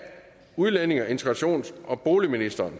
udlændinge integrations og boligministeren